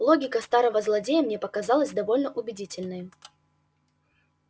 логика старого злодея мне показалась довольно убедительной